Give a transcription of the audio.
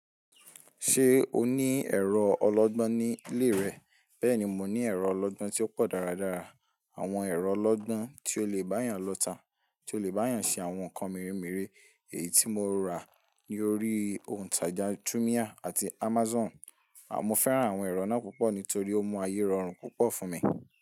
Ṣé o ní ẹ̀rọ ọlọgbọ́n ní ilé rẹ bẹ́ẹ̀ni mo ní ẹ̀rọ ọlọgbọ́n tí ó pọ̀ dáradára, àwọn ẹ̀rọ ọlọgbọ́n tí ó lè bá yàn lọ́ta, tí ó lè bá yàn ṣe àwọn nǹkan mere mere èyí tí mo rà lórí ohun tàjà Jumia àti Amazon. Mo fẹ́ràn àwọn ẹ̀rọ náà púpọ̀ nítorí ó mú ayé rọrùn púpọ̀ fún mi.